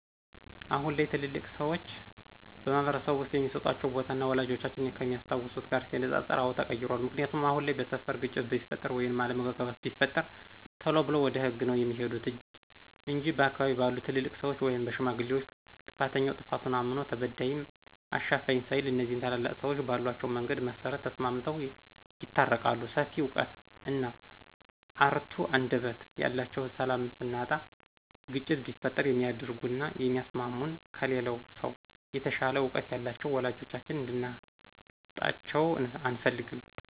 አሁን ላይ ትልልቅ ሰዎች በማህበረስብ ውስጥ የሚስጧቸው ቦታ፣ ወላጆቻችን ከሚያስታውሱት ጋር ሲነፃፀር አወ ተቀይሯል። ምክንያቱ አሁን ላይ በስፈር ግጭት ቢፈጥር ወይም አለምግባባት ቢፈጠር ቴሎ ብለው ወደ ህግ ነው ሚሄዱት እንጅ በአካባቢ ባሉ ትልልቅ ሰዎች ወይም በሽማግሌዎች ጥፋተኛውም ጥፋቱን እምኖ ተበዳይም አሻፈኝ ሳይል እኒዚህ ታላላቅ ሰዎች ባሏቸው መንገድ መሰረት ተስማምተው ይታረቃሉ ሰፊ እውቀት እና እርቱ አንደበት ያላቸውን ሰላም ስናጣና ግጭት ሲፈጠር የሚያርጋጉና የሚያስሟሙን ከሌላው ሰው የተሻለ እውቀት ያላቸውን ወላጆቻችን እንድናጣቸው አንፈልግም።